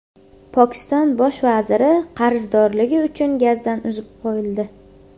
Pokiston bosh vaziri qarzdorligi uchun gazdan uzib qo‘yildi.